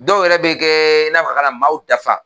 Dɔw yɛrɛ bɛ kɛ i n'a ka na maaw dafa